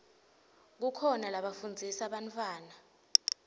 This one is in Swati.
kukhona lafundzisa bantfwana